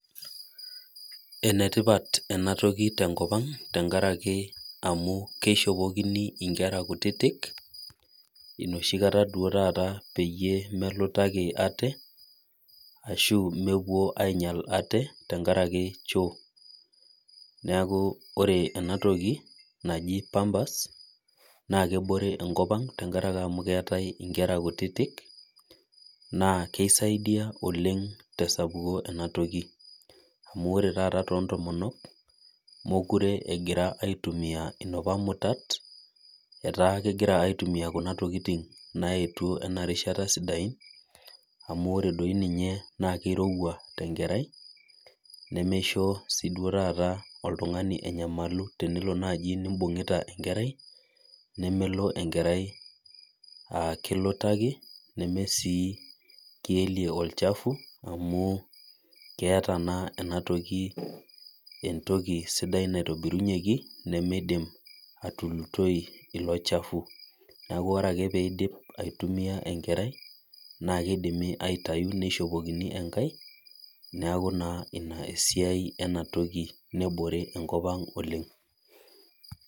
Enetipat ena toki te nkop ang amu keishopokini nkerra kutitik inoshi kata peyiee melutaki ashu mepuo ainyal ate te nkaraki choo niaaku ore enatoki naji pampers naa kebore enkop ang tenkaraki amu keetae nkerra kutitik naa ore sii to ntomonok mekure egirra aitumia napa mutat etaa kegira aitumia kuna tokitin naetuo sidan amu keirowua doi ninye te nkerai nemelo oltungani anyamalu imbungita enkerai amu mekilutaki enkerai ashu kielie olchafu amu keeta enatoki entoki sidain naitobirunyeki nemeidim atulutoi ilo chafu niaku ore ake pee eidip aitumia enkerai akeidimi aitayu neishopokini enkai niaku ina esiai ina toki nebore enkop ang oleng